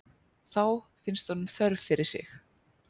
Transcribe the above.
Þá finnst honum þörf fyrir sig.